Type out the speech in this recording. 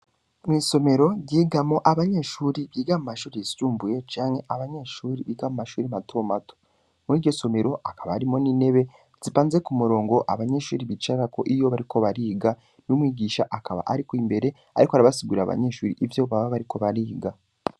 Mwisomero ryigamwo Abanyeshure Biga mumashure yisumbuye, canke Abanyeshure Biga Mumashure matomato, Muriryo somero hakaba harimwo n'intebe zipanze kumurongo, Abanyeshure bicarako iyo bariko bariga, n'Umwigisha akaba Ari imbere Abasigurira Abanyeshure ivyo baba bariko bariga.